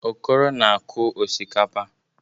Okoro na-akụ osikapa.